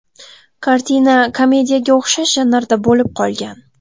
Kartina komediyaga o‘xshash janrda bo‘lib qolgan.